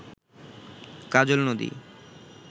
কাজল নদী